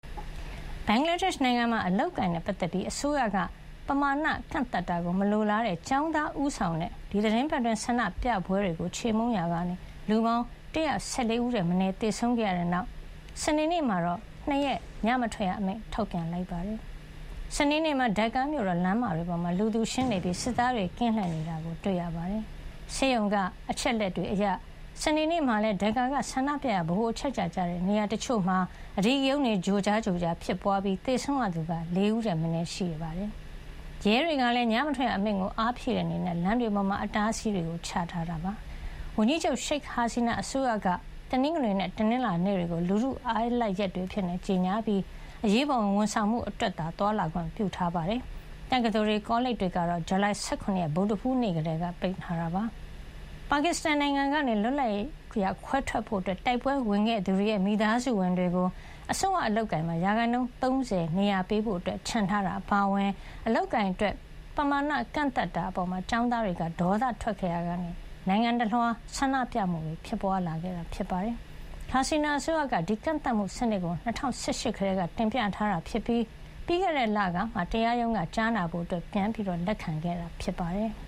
ဘင်္ဂလားဒေ့ရှ် နိုင်ငံမှာ အလုပ်အကိုင်နဲ့ ပတ်သက်ပြီး အစိုးရက ပမာဏ ကန့်သတ်တာကို မလိုလားတဲ့ ကျောင်းသားဦးဆောင်တဲ့ ဒီသီတင်းပတ်အတွင်း ဆန္ဒပြပွဲတွေကို ခြေမှုန်းရာကနေ လူပေါင်း ၁၁၄ ဦးထက်မနည်း သေဆုံးခဲ့ရတဲ့နောက် စနေနေ့မှာတော့ ၂ ရက် ညမထွက်ရအမိန့် ထုတ်ပြန်လိုက်ပါတယ်။ စနေနေ့မှာ Dhaka မြို့တော် လမ်းမတွေပေါ်မှာ လူသူရှင်းနေပြီး စစ်သားတွေ ကင်းလှည့်နေတာ တွေ့ရပါတယ်။ ဆေးရုံက အချက်လက်တွေအရ စနေနေ့မှာလည်း Dhaka က ဆန္ဒပြရာ ဗဟိုအချက်ချာကျတဲ့ နေရာတချို့မှာ အဓိကရုဏ်းတွေ ကြိုကြား ဖြစ်ပွါးခဲ့ပြီး သေဆုံးရသူက ၄ ဦးထက်မနည်း ရှိနေတာပါ။ ရဲတွေကလည်း ညမထွက်ရအမိန့်ကို အားဖြည့်တဲ့အနေနဲ့ လမ်းမတွေမှာ အတားအဆီးတွေ ချထားပါတယ်။ ဝန်ကြီးချုပ် ရှိတ်ဟာစီနာ အစိုးရက တနင်္ဂနွေနဲ့ တနင်္လာနေ့တွေကို လူထုအားလပ်ရက်တွေအဖြစ် ကြေညာခဲ့ပြီး အရေးပေါ်ဝန်ဆောင်မှု အတွက်သာ သွားလာခွင့်ပြုထားပါတယ်။ တက္ကသိုလ်တွေ ကောလိပ်တွေကတော့ ဇူလိုင် ၁၇ ဗုဒ္ဓဟူးနေ့ ကတည်းက ပိတ်ထားတာပါ။ ပါကစ္စတန်နိုင်ငံကနေ လွတ်လပ်ရေးရ ခွဲထွက်ဖို့ တိုက်ပွဲဝင်ခဲ့သူတွေရဲ့ မိသားစုဝင်တွေကို အစိုးရ အလုပ်အကိုင်မှာ ရာခိုင်နှုန်း ၃၀ နေရာ ပေးဖို့ချန်ထားတာ အပါအဝင် အလုပ်အကိုင်အတွက် ပမာဏ ကန့်သတ်တာအပေါ် ကျောင်းသားတွေက ဒေါသထွက်ခဲ့ရာကနေ နိုင်ငံတလွှား ဆန္ဒပြမှုတွေ ဖြစ်ပွါးလာခဲ့တာဖြစ်ပါတယ်။ ဟာစီနာ အစိုးရက ဒီကန့်သတ်မှုစနစ်ကို ၂၀၁၈ ကတည်းက တင်ပြထားတာဖြစ်ပြီး ပြီးခဲ့တဲ့လကမှ တရားရုံးက ကြားနာဖို့ ပြန်လည် လက်ခံခဲ့တာ ဖြစ်ပါတယ်။